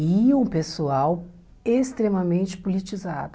E um pessoal extremamente politizado.